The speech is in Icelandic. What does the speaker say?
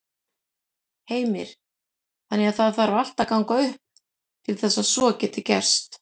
Heimir: Þannig að það þarf allt að ganga upp til þess að svo geti gerst?